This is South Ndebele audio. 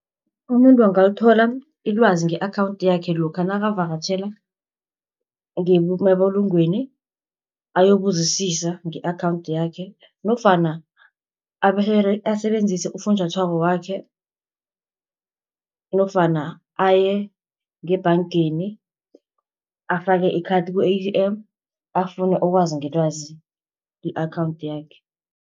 Umuntu angalithola ilwazi nge-akhawunthi yakhe lokha nakavakatjhele ngemabulungweni , ayokubuzisisa nge-akhawunthi yakhe, nofana asebenzisi ufunjathwako wakhe, nofana aye ngebhangeni afake ikhathi ku-A_T_M, afune ukwazi ngelwazi ku-akhawunthi yakhe.